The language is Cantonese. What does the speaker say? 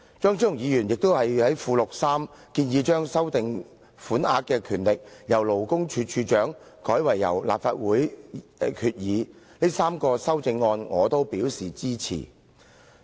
張超雄議員在文件的附錄3建議由賦權勞工處處長修訂有關款額，改為由立法會藉決議修訂，這3項修正案我都表示支持。